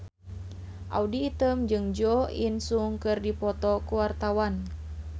Audy Item jeung Jo In Sung keur dipoto ku wartawan